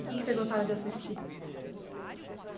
E que que você gostava de assistir?